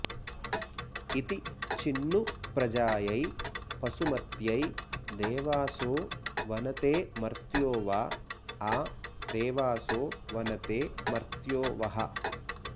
इति॑ चि॒न्नु प्र॒जायै॑ पशु॒मत्यै॒ देवा॑सो॒ वन॑ते॒ मर्त्यो॑ व॒ आ दे॑वासो वनते॒ मर्त्यो॑ वः